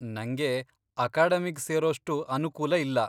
ನಂಗೆ ಅಕಾಡೆಮಿಗ್ ಸೇರೋಷ್ಟು ಅನುಕೂಲ ಇಲ್ಲ.